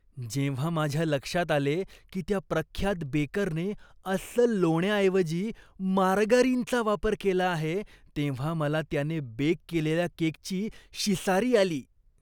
जेव्हा माझ्या लक्षात आले की त्या प्रख्यात बेकरने अस्सल लोण्याऐवजी मार्गारीनचा वापर केला आहे, तेव्हा मला त्याने बेक केलेल्या केकची शिसारी आली.